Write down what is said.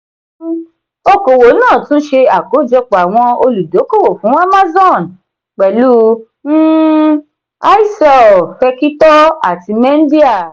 um òkòwò náà tún se akojọpọ àwọn olùdókówó fún amazon pẹlu um i-cell fẹkitọ àti mendia.